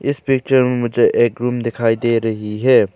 इस पिक्चर में मुझे एक रूम दिखाई दे रही है।